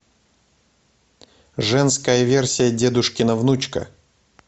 женская версия дедушкина внучка